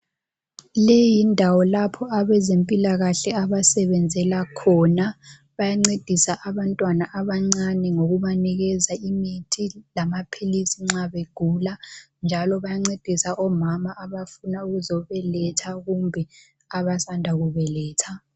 Leyi yindawo lapho abezempilakahle abasebenzela khona. Bayancedisa abantwana abancane ngokubanikeza imithi lamaphilisi nxa begula njalo bayancedisa omama abafuna ukuzobeletha kumbe abasanda kubeletha.